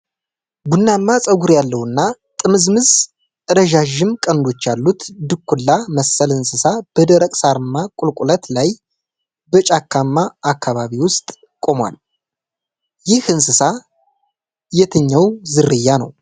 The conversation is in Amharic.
ቡናማ ፀጉር ያለው እና ጥምዝምዝ፣ ረዣዥም ቀንዶች ያሉት ድኩላ መሰል እንስሳ በደረቅ ሳርማ ቁልቁለት ላይ በጫካማ አካባቢ ውስጥ ቆሟል። ይህ እንስሳ የትኛው ዝርያ ነው?